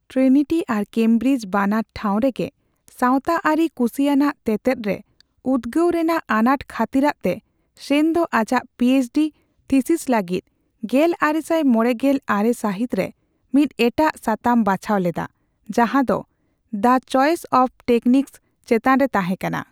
Trinity ᱟᱨ Cambridge ᱵᱟᱱᱟᱨ ᱴᱷᱟᱣ ᱨᱮᱜᱮ ᱥᱟᱣᱛᱟ ᱟᱹᱨᱤ ᱠᱩᱥᱤᱭᱟᱱᱟᱜ ᱛᱮᱛᱮᱫ ᱨᱮ ᱩᱫᱜᱟᱹᱣ ᱨᱮᱱᱟᱜ ᱟᱱᱟᱴ ᱠᱷᱟᱹᱛᱤᱨᱟᱜ ᱛᱮ, ᱥᱮᱱ ᱫᱚ ᱟᱡᱟᱜ P H D thesis ᱞᱟᱹᱜᱤᱫ ᱜᱮᱞᱟᱨᱮᱥᱟᱭ ᱢᱚᱲᱮᱜᱮᱞ ᱟᱨᱮ ᱥᱟᱹᱦᱤᱛ ᱨᱮ ᱢᱤᱫ ᱮᱴᱟᱜ ᱥᱟᱛᱟᱢᱮ ᱵᱟᱪᱷᱟᱣ ᱞᱮᱫᱟ, ᱡᱟᱸᱦᱟ ᱫᱚ ᱫᱟ ᱪᱚᱭᱮᱥ ᱚᱯᱷ ᱴᱮᱠᱱᱤᱠᱥ'ᱼᱪᱮᱛᱟᱱ ᱨᱮ ᱛᱟᱸᱦᱮ ᱠᱟᱱᱟ ᱾